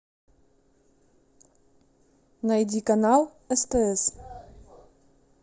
найди канал стс